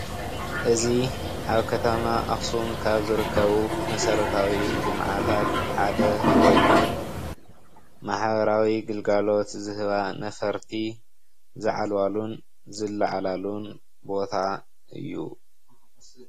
እዚ ኣብ ከተማ ኣክሱም ካብ ዘርከቡ መሰረታዊ ልምዓታት ሓደ ኮይኑ ማሕበራዊ ግልጋሎት ዝህባ ነፈርቲ ዝዓልባሉን ዝለዓላሉን ቦታ እዩ፡፡